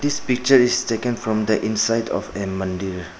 This picture is taken from the inside of a mandir.